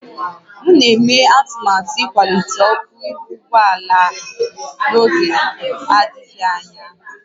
M na-eme atụmatụ ịkwalite ọkụ ihu ụgbọ ala a n'oge adịghị anya